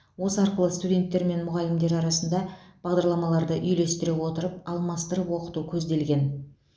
осы арқылы студенттер мен мұғалімдер арасында бағдарламаларды үйлестіре отырып алмастырып оқыту көзделген